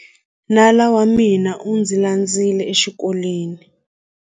Nala wa mina u ndzi landzile exikolweni.